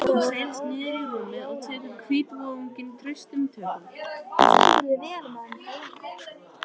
Hún seilist niður í rúmið og tekur hvítvoðunginn traustum tökum.